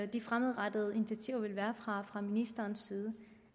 de fremadrettede initiativer vil være fra ministerens side